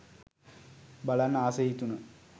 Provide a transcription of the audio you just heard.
බලන්න අස හිතුන.